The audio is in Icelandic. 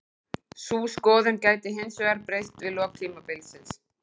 Sú skoðun gæti hinsvegar breyst við lok tímabilsins.